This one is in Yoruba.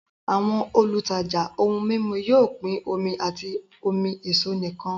Àwọn olùtajà ohun mímu yóò pín omi àti omi èso nìkan